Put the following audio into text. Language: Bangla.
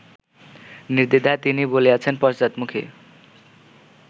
নির্দ্বিধায় তিনি বলিয়াছেন পশ্চাদমুখী